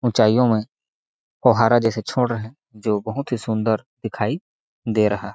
ऊंचाइयों में फवहारा जैसे छोड़ रहै है जो बहुत ही सुंदर दिखाई दे रहा है।